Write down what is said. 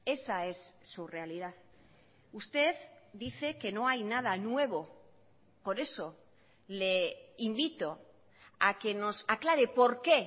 esa es su realidad usted dice que no hay nada nuevo por eso le invito a que nos aclare por qué